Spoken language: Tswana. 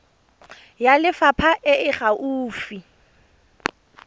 ya lefapha e e gaufi